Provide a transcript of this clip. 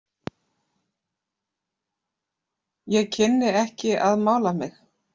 Ég kynni ekki að mála mig.